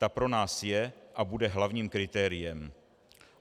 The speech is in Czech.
Ta pro nás je a bude hlavním kritériem.